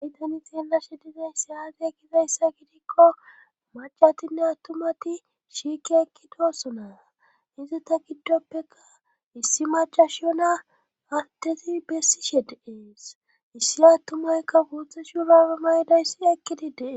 Aytani xeellashe dizay siyaate ekizayssa gidikko macatinne attumati shiiki ekkidoso naa izi ta giddoppeka issi macashiyo naa attezi bessishe deees issiattumaykka buutha shiyonaa maydayssi ekkidi dee